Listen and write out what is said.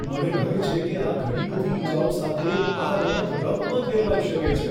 મને ડર છે કે આ ઘણી બધી ઈજાઓ સાથે આ રમત રફમાં ફેરવાઈ શકે છે.